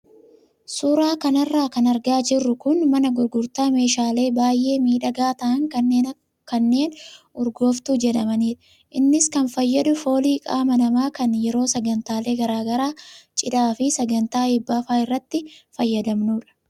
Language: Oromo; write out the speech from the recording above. Suuraa kanarra kan argaa jirru kun mana gurgurtaa meeshaalee baay'ee miidhagaa ta'an kanneen urgooftee jedhamanidha. Innis kan fayyadu foolii qaama namaa kan yeroo sagantaalee garaagaraa cidhaa fi sagantaa eebbaa fa'aa irratti fayyadamnudha.